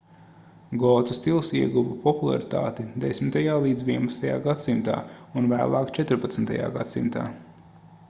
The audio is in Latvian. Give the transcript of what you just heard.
gotu stils ieguva popularitāti 10.–11. gs. un vēlāk 14. gs